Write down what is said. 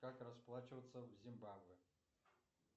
как расплачиваться в зимбабве